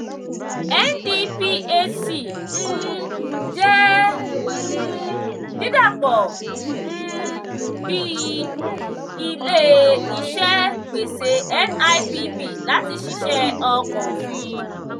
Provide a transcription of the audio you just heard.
ndphc um jẹ́ um dídà pọ̀ um bíi ilé-iṣẹ́ gbèsè nipp láti ṣiṣẹ́ ọkọ̀ òfin